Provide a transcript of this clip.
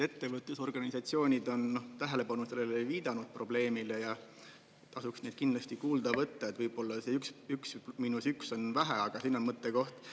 Ettevõtlusorganisatsioonid on tähelepanu sellele viidanud, probleemile ja tasuks neid kindlasti kuulda võtta, võib-olla see üks miinus üks on vähe, aga siin on mõttekoht.